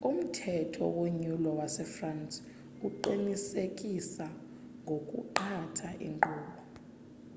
umthetho wonyulo wase-france uqinisekisa ngokuqatha inkqubo